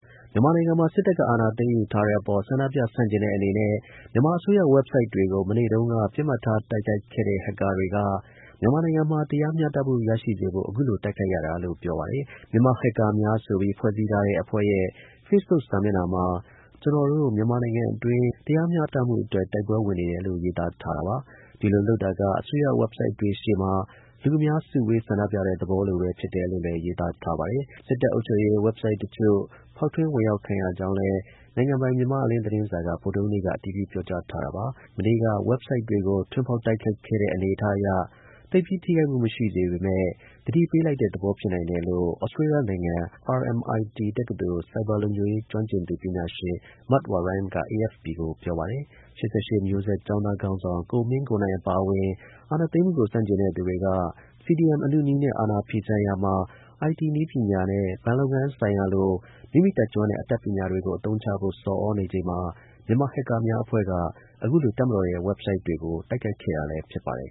မြန်မာနိုင်ငံမှာ စစ်တပ်ကအာဏာသိမ်းယူထားတဲ့အပေါ် ဆန့်ကျင်ဆန္ဒပြ တဲ့ အနေနဲ့ မြန်မာအစိုးရ ဝက်ဘ်ဆိုက်တွေကို မနေ့တုန်းက ပစ်မှတ်ထားတိုက်ခိုက်ခဲ့တဲ့ ဟက်ကာတွေက မြန်မာနိုင်ငံမှာ တရားမျှတမှု ရရှိစေဖို့ တိုက်ခိုက်ရတာလို့ ပြောပါတယ်။ မြန်မာ ဟက်ကာများ ဆိုပြီး ဖွဲ့စည်းထားတဲ့ အဖွဲ့ရဲ့ Facebook စာမျက်နှာမှာ ကျွန်တော်တို့ မြန်မာနိုင်ငံတွင်း တရားမျှတမှုအ တွက် တိုက်ပွဲ ဝင်နေတယ်လို့ ရေးသားထားတာပါ။ ဒီလိုလုပ်တာက အစိုးရဝက်ဘ်ဆိုက်တွေရှေ့မှာ လူအများစုဝေးဆန္ဒပြတဲ့ သဘောလိုပဲဖြစ်တယ်လို့လည်း ရေးသားထားပါတယ်။ စစ်တပ်အုပ်ချုပ်ရေး ဝက်ဘ်ဆိုက်တချို့ ဖောက်ထွင်းဝင်ရောက်ခံရကြောင်းလည်း နိုင်ငံပိုင် မြန်မာ့အလင်းသတင်းစာက ဗုဒ္ဓဟူးနေ့က အတည်ပြုပြောကြားထားတာပါ။ မနေ့က ဝက်ဘ်ဆိုက်တွေကို ထွင်းဖောက်တိုက်ခိုက်ခဲ့တဲ့ အနေအထားအရ သိပ်ပြီးထိခိုက်မှု မရှိပေမဲ့ သတိပေးလိုက်တဲ့ သဘော ဖြစ်နိုင်တယ်လို့ သြစတေးလျနိုင်ငံ RMIT တက္ကသိုလ် ဆိုက်ဘာလုံခြုံရေး ကျွမ်းကျင်ပညာရှင် Matt Warren က AFP ကို ပြော ပါတယ်။ ၈၈ မျိုးဆက်ကျောင်းသား ခေါင်းဆောင် ကိုမင်းကိုနိုင် အပါအဝင် အာဏာသိမ်းမှုကို ဆန့်ကျင်တဲ့ သူတွေက CDM အနုနည်းနဲ့အာဏာဖီ ဆန်ရာမှာ IT နည်းပညာနဲ့ ဘဏ်လုပ်ငန်းဆိုင်ရာလို မိမိတတ်ကျွမ်းတဲ့ အတတ်ပညာတွေအသုံးချဖို့ဆော်ဩနေချိန်မှာ မြန်မာ ဟက်ကာများ အဖွဲ့က အခုလိုတပ်မတော် ရဲ့ websites တွေကို တိုက်ခိုက်ခဲ့တာလည်း ဖြစ်ပါတယ်